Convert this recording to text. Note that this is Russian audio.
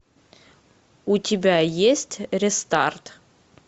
у тебя есть рестарт